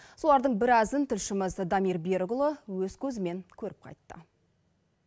солардың біразын тілшіміз дамир берікұлы өз көзімен көріп қайтты